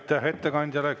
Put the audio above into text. Aitäh ettekandjale!